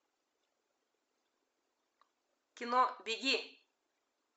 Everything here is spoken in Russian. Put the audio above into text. кино беги